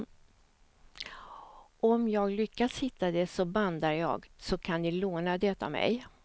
Om jag lyckas hitta det så bandar jag, så kan ni låna det av mig.